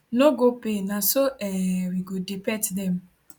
no go pay na so um we go dey pet dem